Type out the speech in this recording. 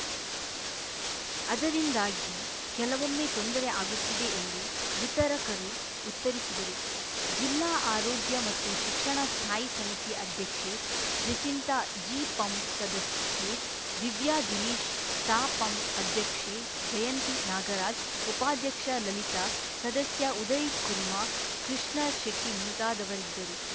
ಅದರಿಂದಾಗಿ ಕೆಲವೊಮ್ಮೆ ತೊಂದರೆ ಆಗುತ್ತಿದೆ ಎಂದು ವಿತರಕರು ಉತ್ತರಿಸಿದರು ಜಿಲ್ಲಾ ಆರೋಗ್ಯ ಮತ್ತು ಶಿಕ್ಷಣ ಸ್ಥಾಯಿ ಸಮಿತಿ ಅಧ್ಯಕ್ಷೆ ಜೆಸಿಂತಾ ಜಿಪಂ ಸದಸ್ಯೆ ದಿವ್ಯಾ ದಿನೇಶ್‌ ತಾಪಂ ಅಧ್ಯಕ್ಷೆ ಜಯಂತಿ ನಾಗರಾಜ್‌ ಉಪಾಧ್ಯಕ್ಷೆ ಲಲಿತಾ ಸದಸ್ಯ ಉದಯ್‌ಕುರ್ಮಾ ಕೃಷ್ಣ ಶೆಟ್ಟಿಮುಂತಾದವರಿದ್ದರು